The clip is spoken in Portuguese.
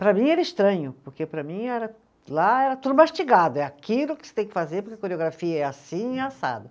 Para mim era estranho, porque para mim era, lá era tudo mastigado, é aquilo que você tem que fazer porque a coreografia é assim e assado.